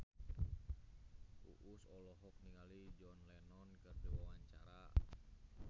Uus olohok ningali John Lennon keur diwawancara